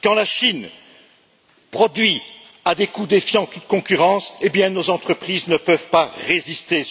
Quand la Chine produit à des coûts défiant toute concurrence et bien, nos entreprises ne peuvent pas résister.